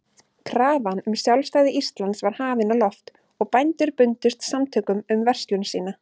Krafan um sjálfstæði Íslands var hafin á loft, og bændur bundust samtökum um verslun sína.